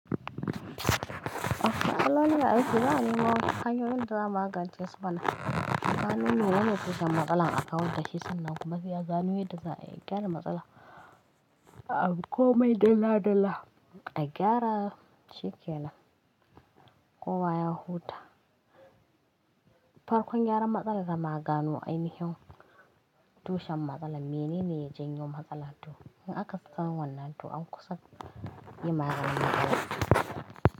Matsalolin da ake za a nemo hanyoyin da za a magance su mana. Gano menene tushen matsalan a kawar da shi sannan kuma sai a gano yanda za a iya gyara matsala. Abi komai dalla dalla A gyara shi ke nan. Kowa ya huta. Farkon gyaran matsala da maganu ainihin tushen matsalan mene ne ya janyo matsala to. In aka san wannan to an kusa yi maganin matsalan.